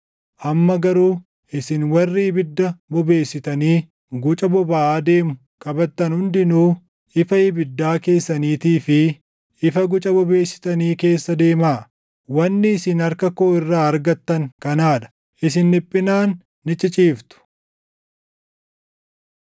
Amma garuu isin warri ibidda bobeessitanii guca bobaʼaa deemu qabattan hundinuu ifa ibiddaa keessaniitii fi ifa guca bobeessitanii keessa deemaa. Wanni isin harka koo irraa argattan kanaa dha; isin dhiphinaan ni ciciiftu.